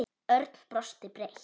Örn brosti breitt.